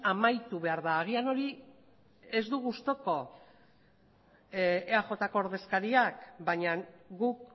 amaitu behar da agian hori ez du gustuko eajko ordezkariak baina guk